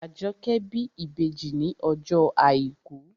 Àjọkẹ́ bí ìbejì ní ọjọ́ àìkú